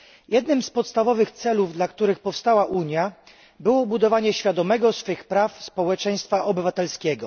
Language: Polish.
Jednym z podstawowych celów, dla których powstała Unia, było budowanie świadomego swych praw społeczeństwa obywatelskiego.